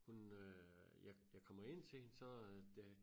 Hun øh jeg jeg kommer ind til hende så øh det